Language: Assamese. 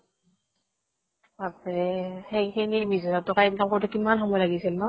বাপৰে সেইখিনি বিশ হাজাৰ তকা income কৰোতে কিমান সময় লাগিছিল ন